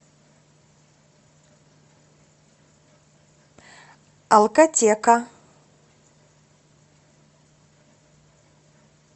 алкотека